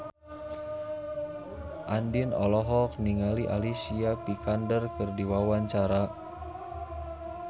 Andien olohok ningali Alicia Vikander keur diwawancara